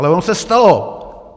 Ale ono se stalo.